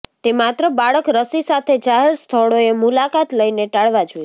તે માત્ર બાળક રસી સાથે જાહેર સ્થળોએ મુલાકાત લઈને ટાળવા જોઈએ